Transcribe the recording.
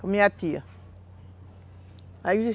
Com minha tia. Aí